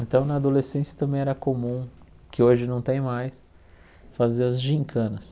Então, na adolescência também era comum, que hoje não tem mais, fazer as gincanas.